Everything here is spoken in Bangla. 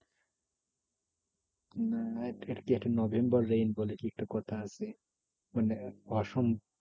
আহ কি? একটা নভেম্বর rain বলে একটা কথা আছে। মানে অসম